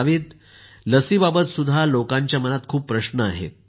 नाविद लसीबाबतही लोकांच्या मनात खूप प्रश्न आहेत